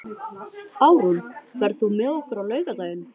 Árún, ferð þú með okkur á laugardaginn?